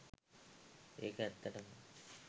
ඒක ඇත්තටම